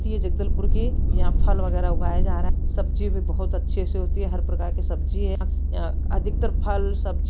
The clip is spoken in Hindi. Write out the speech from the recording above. ये जगदलपुर की यहाँ फल वगैरह उगाया जा रहा सब्जी भी बहुत अच्छे से होती है हर प्रकार का सब्जी है या अधिकतर फल सब्जी--